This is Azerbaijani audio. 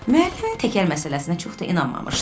Müəllim təkər məsələsinə çox da inanmamışdı.